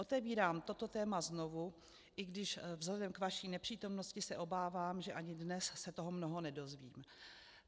Otevírám toto téma znovu, i když vzhledem k vaší nepřítomnosti se obávám, že ani dnes se toho mnoho nedozvím.